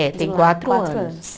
É, tem quatro anos.